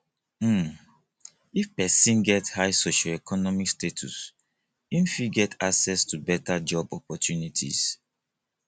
um if persin get high socioeconomic status im fit get access to better job opprtunities